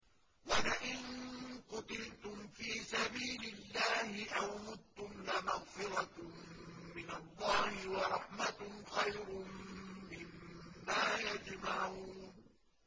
وَلَئِن قُتِلْتُمْ فِي سَبِيلِ اللَّهِ أَوْ مُتُّمْ لَمَغْفِرَةٌ مِّنَ اللَّهِ وَرَحْمَةٌ خَيْرٌ مِّمَّا يَجْمَعُونَ